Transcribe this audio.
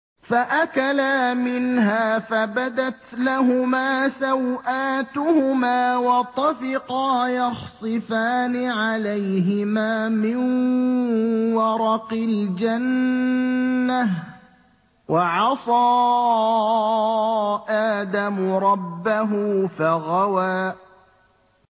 فَأَكَلَا مِنْهَا فَبَدَتْ لَهُمَا سَوْآتُهُمَا وَطَفِقَا يَخْصِفَانِ عَلَيْهِمَا مِن وَرَقِ الْجَنَّةِ ۚ وَعَصَىٰ آدَمُ رَبَّهُ فَغَوَىٰ